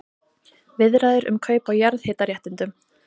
Viðræður um kaup á jarðhitaréttindum